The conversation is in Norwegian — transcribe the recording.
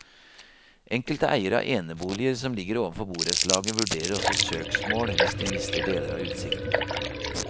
Enkelte eiere av eneboliger, som ligger ovenfor borettslaget, vurderer også søksmål hvis de mister deler av utsikten.